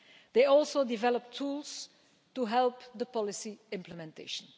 They have also developed tools to help with policy implementation.